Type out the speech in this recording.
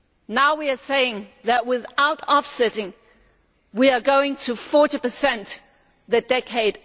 Now we are saying that without offsetting we are going to 40 in the following decade.